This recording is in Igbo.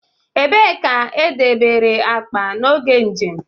Ebee ka e debere akpa n'oge njem?